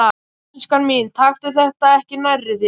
Elskan mín, taktu þetta ekki nærri þér.